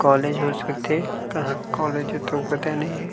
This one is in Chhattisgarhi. कॉलेज हो सकथे कहाँ कॉलेज हे. तो पता नहीं हे।